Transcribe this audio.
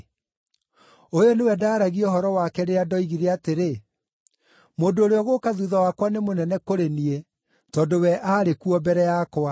Ũyũ nĩwe ndaaragia ũhoro wake rĩrĩa ndoigire atĩrĩ, ‘Mũndũ ũrĩa ũgũũka thuutha wakwa nĩ mũnene kũrĩ niĩ tondũ we aarĩ kuo mbere yakwa.’